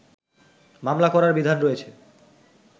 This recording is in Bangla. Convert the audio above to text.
মামলা করার বিধান রয়েছে